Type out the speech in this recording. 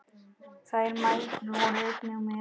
Þær mæðgur voru einnig með.